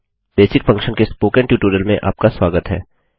basic function के spoken tutorial में आपका स्वागत है